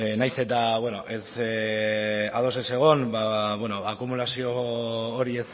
beno nahiz eta ados ez egon akumulazio hori